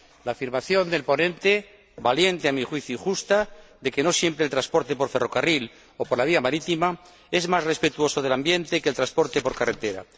la afirmación del ponente valiente, a mi juicio, y justa de que no siempre el transporte por ferrocarril o por vía marítima es más respetuoso del medio ambiente que el transporte por carretera.